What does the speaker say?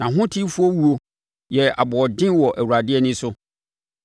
Nʼahotefoɔ wuo yɛ aboɔden wɔ Awurade ani so.